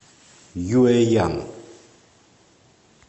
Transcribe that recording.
юэян